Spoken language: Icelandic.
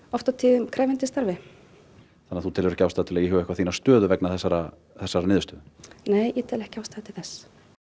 oft á tíðum krefjandi starfi þannig að þú telur ekki ástæðu til að íhuga þína stöðu vegna þessarar þessarar niðurstöðu nei ég tel ekki ástæðu til þess